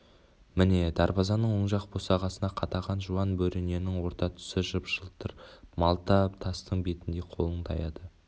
міне дарбазаның оң жақ босағасына қадаған жуан бөрененің орта тұсы жып-жылтыр малта тастың бетіндей қолың таяды